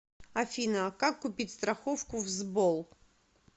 афина как купить страховку в сбол